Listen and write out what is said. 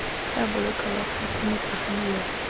tla boloka bakgweetsi mopagami yo